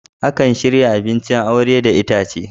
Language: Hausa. Akan shirya abincin aure da itace.